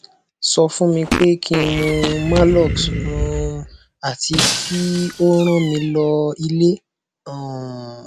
so fun mi pe kin mu malox um ati ki o rán mi lo ile um